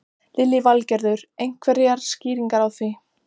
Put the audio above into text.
Lillý Valgerður: Einhverjar skýringar á því?